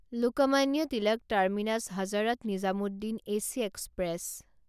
Lokmanya Tilak terminus Hazrat Nizamuddin AC express